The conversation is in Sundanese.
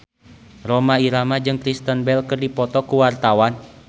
Rhoma Irama jeung Kristen Bell keur dipoto ku wartawan